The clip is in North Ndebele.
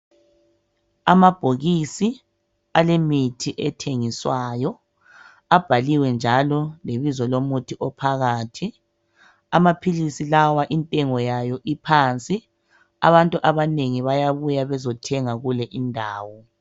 amabhokisi alemithi ethengiswayo abhaliwe njalo lebizo lomuthi ophakathi amaphilisi lawa intengo yayo iphansi abantu abanengi bayabuya bezothenga kule indawo